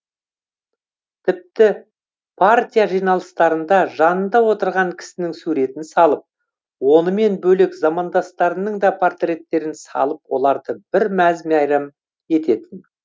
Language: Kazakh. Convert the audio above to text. тіпті партия жиналыстарында жанында отырған кісінің суретін салып онымен бөлек замандастарының да портреттерін салып оларды бір мәз мәйрам ететін